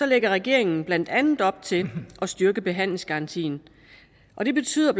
lægger regeringen blandt andet op til at styrke behandlingsgarantien og det betyder